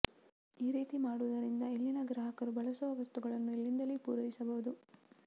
ಈ ರೀತಿ ಮಾಡುವುದರಿಂದ ಇಲ್ಲಿನ ಗ್ರಾಹಕರು ಬಳಸುವ ವಸ್ತುಗಳನ್ನು ಇಲ್ಲಿಂದಲೇ ಪೂರೈಸಬಹುದು